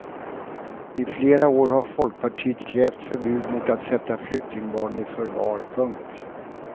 I flera år har folkpartiet krävt förbud mot att sätta flyktingbarn i förvar. punkt